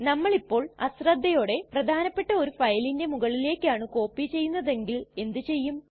നമ്മളിപ്പോൾ അശ്രദ്ധയോടെ പ്രധാനപെട്ട ഒരു ഫയലിന്റെ മുകളിലേക്കാണ് കോപ്പി ചെയ്യുന്നതെങ്കിൽ എന്ത് ചെയ്യും